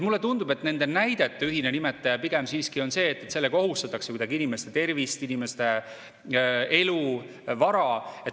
Mulle tundub, et nende näidete ühine nimetaja pigem siiski on see, et sellega ohustatakse kuidagi inimeste tervist, inimeste elu, vara.